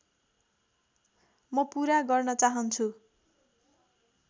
म पूरा गर्न चाहन्छु